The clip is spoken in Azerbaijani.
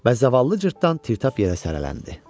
Və zavallı Cırtdan təptap yerə sələlələndi.